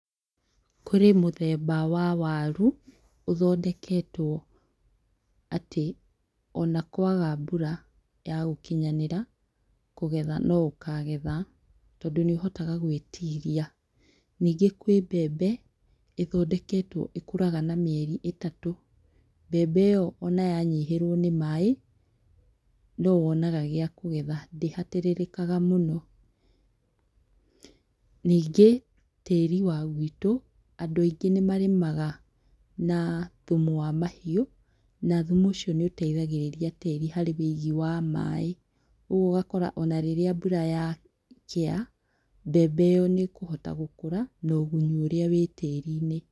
Kũrĩ mũthemba wa waru, ũthondeketwo atĩ ona kwaga mbura ya gũkinyanĩra kũgetha no ũkagetha, tondũ nĩ ĩhotaga gũĩtiria. Ningĩ kwĩ mbembe ĩthondeketwo ĩkũraga na mĩeri ĩtatũ. Mbembe ĩyo ona ya nyihĩrwo nĩ maaĩ, no wonaga gĩa kũgetha, ndĩhatĩrĩrĩkaga mũno. Ningĩ tĩĩri wa gwitũ, andũ aingĩ nĩ marĩmaga na thumu wa mahiũ, na thumu ũcio nĩ ũteithagĩrĩria tĩĩri harĩ wũigi wa maaĩ. Rĩu ũgakora ona rĩrĩa mbura yakĩa, mbembe ĩyo nĩ ĩkũhota gũkũra na ũgunyu ũrĩa wĩ tĩĩri-inĩ.